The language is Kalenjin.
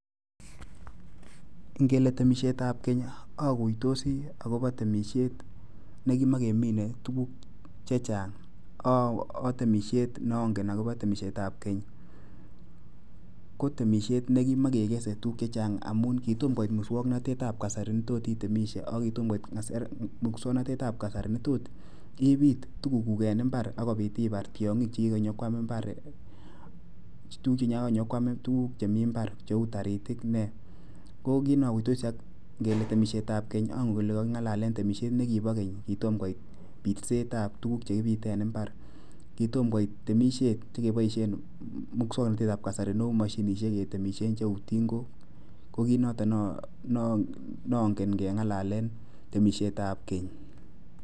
Ngele temisietab keny aguitosi agobo temisiet nekimakemine tuguk chechang'. Neongen agobo temisietab keny ko temisiet nekimakekese tuguk chechang'. Amun kitomo koit muswaknatetab kasari netot itemishe ago kitomo koit muswaknatetab kasari netot ibiit tuguk en mbar agobit ibar tyong'ik chekikonyokwam tuguk chemi mbar cheu taritik nee. Ko kit ne oguitosi ngele temisietab keny ongen kole kaking'alalen temisiet nekibo keny kitom koit pitseetab tuguk chekipite en mbar. Kitom koit temisiet nekepoishen muswaknatetab kasari neu moshinishek ketemishen cheu tingok ko kit noton neongen ngeng'alalen temisietab keny.